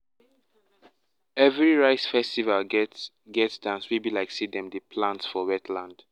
every rice um festival get get dance wey be like say dem dey plant for wetland.